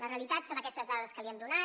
la realitat són aquestes dades que li hem donat